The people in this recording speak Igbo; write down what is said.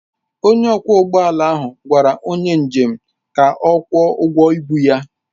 Onye ọkwọ ụgbọ ala ahụ gwara onye njem ka ọ kwụọ ụgwọ ịbu ya.